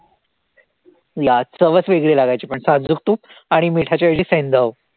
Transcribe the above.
yeah चवचं वेगळी लागायची पण साजूक तूप आणि मिठाची ऐवजी सैंधव